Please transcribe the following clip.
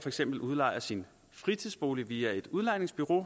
eksempel udlejer sin fritidsbolig via et udlejningsbureau